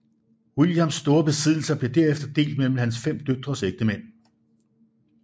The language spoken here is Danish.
Williams store besiddelser blev derefter delt mellem hans fem døtres ægtemænd